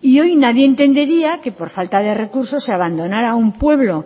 y hoy nadie entendería que por falta de recursos se abandonara a un pueblo